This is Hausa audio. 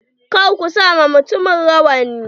Kar ku sa wa mutumin rawani.